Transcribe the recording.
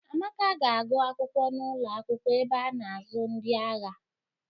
Amaka ga-agụ akwụkwọ n'ụlo akwụkwọ ebe a na-azụ ndị agha.